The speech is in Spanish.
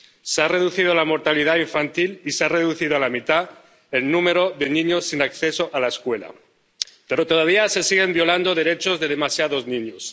se ha reducido la mortalidad infantil y se ha reducido a la mitad el número de niños sin acceso a la escuela, pero todavía se siguen violando derechos de demasiados niños.